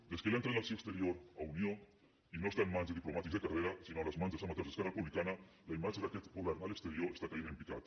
des que li han tret l’acció exterior a unió i no està en mans de diplomàtics de carrera sinó a les mans dels amateurs d’esquerra republicana la imatge d’aquest govern a l’exterior està caient en picat